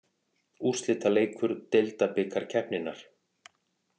Úrslitaleikur deildabikarkeppninnar.